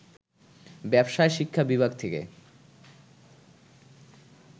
ব্যবসায় শিক্ষা বিভাগ থেকে